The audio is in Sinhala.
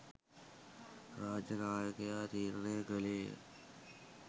රාජ්‍ය නායකයා තීරණය කළේය.